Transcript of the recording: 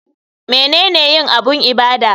Menene yin abun ibada?